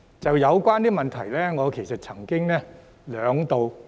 就有關問題，我曾兩度......